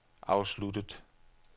afsluttet